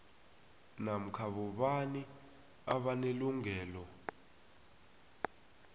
namkha bobani abanelungelo